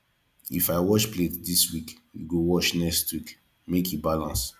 if i wash plate dis week you go wash next neek make e balance